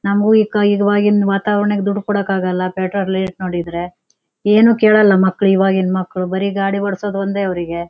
ನಮಗು ಈವಾಗಿನ್ನ್ ವಾತಾವರಣ್ಕ್ ದುಡ್ಡ್ ಕೊಡಕ್ಕಾಗಲ್ಲಾ ಪೆಟ್ರೋಲ್ ರೇಟ್ ನೋಡಿದ್ರೆ ಏನು ಕೇಳಲ್ಲಾ ಮಕ್ಳು ಈವಾಗಿನ ಮಕ್ಳು ಬರಿ ಗಾಡಿ ಓಡಸೋದು ಒಂದೇ ಅವರಿಗೆ.